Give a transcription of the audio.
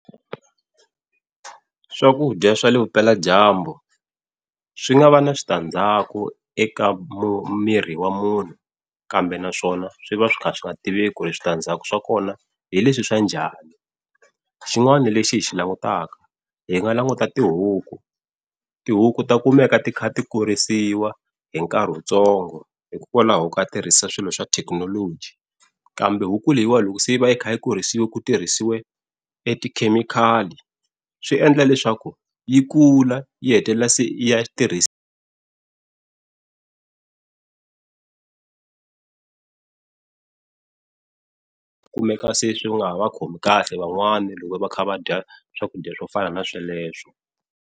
Swakudya swa le vupeladyambu swi nga va na switandzhaku eka mu miri wa munhu, kambe naswona swi va swi ka swi nga tiveki ku ri switandzhaku swa kona hi leswi swa njhani. Xin'wana lexi hi xi langutaka hi nga languta tihuku, tihuku ta kumeka ti kha ti kurisiwa hi nkarhi wutsongo hikokwalaho ko tirhisa swilo swa thekinoloji. Kambe huku leyiwa loko se yi va yi kha yi kurisiwa ku tirhisiwe tikhemikhali swiendla leswaku yi kula yi hetelela se yi ya tirhisa swi kumeka se swi nga ha va khomi kahle van'wana loko va kha va dya swakudya swo fana na sweleswo.